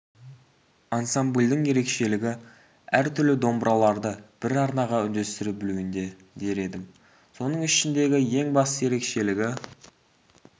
ансамбльдің ерекшелігі әртүрлі домбыраларды бір арнаға үндестіре білуінде дер едім соның ішіндегі ең басты ерекшелігі